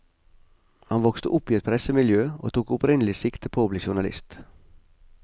Han vokste opp i et pressemiljø og tok opprinnelig sikte på å bli journalist.